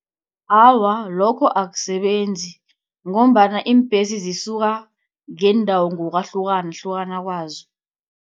Awa lokho akusebenzi, ngombana iimbhesi zisuka ngeendawo ngokwahlukahluka kwazo.